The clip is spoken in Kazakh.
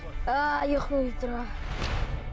ааа ұйкым келіп тұрғаны